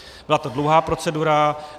Byla to dlouhá procedura.